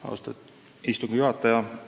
Austatud istungi juhataja!